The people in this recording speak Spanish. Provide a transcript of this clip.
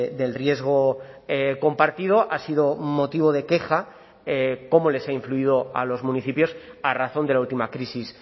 del riesgo compartido ha sido motivo de queja cómo les ha influido a los municipios a razón de la última crisis